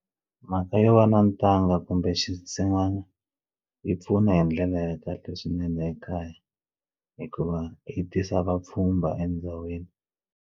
Mhaka yo va na ntanga kumbe xinsin'wana yi pfuna hi ndlela ya kahle swinene ekaya hikuva yi tisa vapfhumba endhawini.